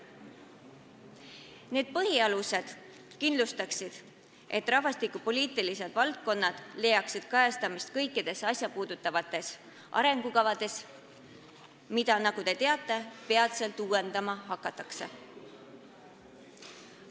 Need põhialused kindlustaksid, et rahvastikupoliitilised valdkonnad leiaksid kajastamist kõikides asjasse puutuvates arengukavades, mida, nagu te teate, peatselt uuendama hakatakse.